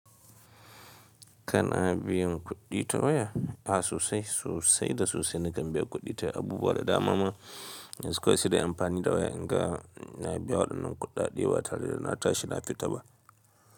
Kana biyan kuɗi ta waya, a sosai sosai da sosai na kambiya kuɗi ta abubuwa da dama ma yanzu kawai sai dai in amfani da waya, in ga na biya waɗannan kuɗaɗe ba tare da na tashi na fita ba.